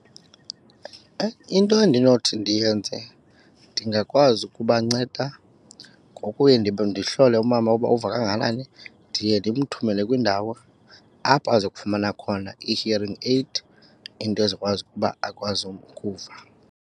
Into endinothi ndiyenze ndingakwazi ukubanceda ngokuye ndihlole umama uba uva kangakanani. Ndiye ndimthumele kwindawo apho azofumana khona i-hearing aid into ezokwazi ukuba akwazi ukuva.